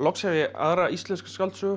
loks hef ég aðra íslenska skáldsögu